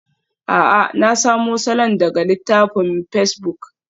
A'a, na samo salon daga littafin pacebuk.